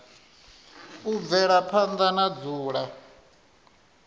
u bvela phanda na dzula